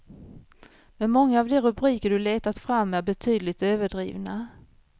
Men många av de rubriker du letat fram är betydligt överdrivna.